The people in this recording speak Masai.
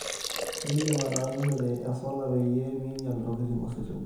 indim ataasishore e solar peyie minyal intokitin ositima